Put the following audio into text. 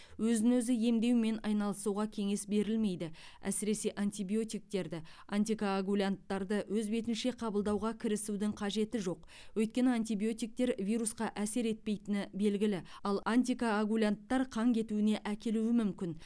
өзін өзі емдеумен айналысуға кеңес берілмейді әсіресе антибиотиктерді антикоагулянттарды өз бетінше қабылдауға кірісудің қажеті жоқ өйткені антибиотиктер вирусқа әсер етпейтіні белгілі ал антикоагулянттар қан кетуіне әкелуі мүмкін